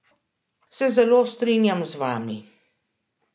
Se zelo strinjam z vami.